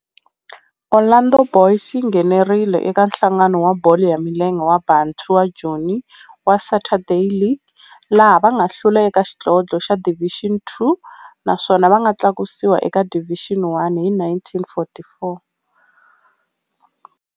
Orlando Boys yi nghenelerile eka Nhlangano wa Bolo ya Milenge wa Bantu wa Joni wa Saturday League, laha va nga hlula eka xidlodlo xa Division Two naswona va nga tlakusiwa eka Division One hi 1944.